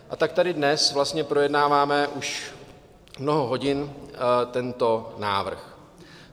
A tak tady dnes vlastně projednáváme už mnoho hodin tento návrh.